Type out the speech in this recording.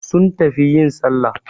Sun tafi yin Sallah